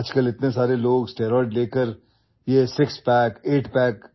Nowadays, so many people take steroids and go for this six pack or eight pack